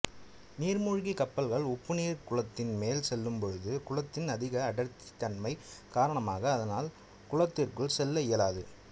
நீா்மூழ்கிக் கப்பல்கள் உப்புநீா்குளத்தின் மேல் செல்லும் பொழுது குளத்தின் அதிக அடா்த்தி தன்மை காரணமாக அதனால் குளத்திற்குள் செல்ல இயலாது